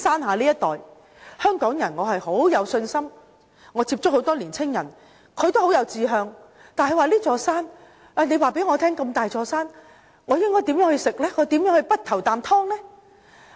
我對香港人很有信心，我接觸很多年青人都很有志向，但他們會問，這麼大的一座山，他們如何能夠早着先機呢？